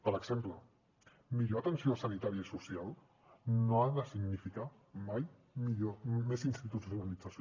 per exemple millor atenció sanitària i social no ha de significar mai més institucionalització